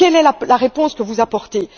Quelle est la réponse que vous apportez?